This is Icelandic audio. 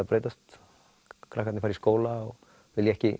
breytast krakkarnir fara í skóla og vilja ekki